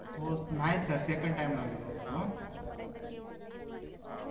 हो नाही sir second time ला गेलो होतो हं